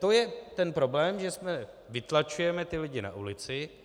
To je ten problém, že vytlačujeme ty lidi na ulici.